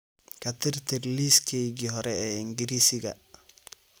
ka tirtir liiskaygii hore ee ingiriisiga